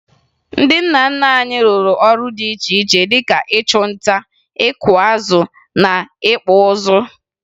Ndị nna nna anyị rụrụ ọrụ dị iche iche dị ka ịchụ nta, ịkụ azụ na ịkpụ ụzụ